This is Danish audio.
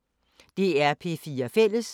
DR P4 Fælles